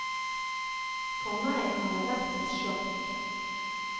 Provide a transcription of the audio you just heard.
For meg har det vært et sjokk.